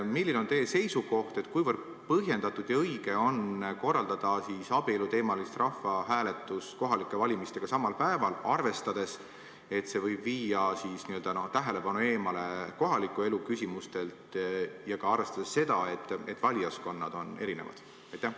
Milline on teie seisukoht, kuivõrd põhjendatud ja õige on korraldada abieluteemalist rahvahääletust kohalike valimistega samal päeval, arvestades, et see võib viia täna tähelepanu eemale kohaliku elu küsimustelt, ja arvestades seda, et valijaskonnad on erinevad?